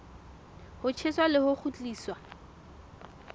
ho tjheswa le ho kgutliswa